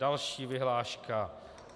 Další vyhláška.